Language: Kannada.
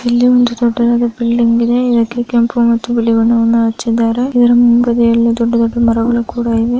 ಇಲ್ಲಿ ಒಂದು ದೊಡ್ಡದಾದ ಬಿಲ್ಡಿಂಗ್ ಇದೆ ಇದಕ್ಕೆ ಕೆಂಪು ಮತ್ತು ಬಿಳಿ ಬಣ್ಣವನ್ನು ಹಚ್ಚಿದಾರೆ ಇದರ ಮುಂದೆ ದೊಡ್ಡದಾದ ಮರಗಳು ಕೂಡ ಇವೆ